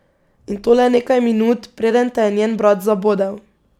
In to le nekaj minut, preden te je njen brat zabodel.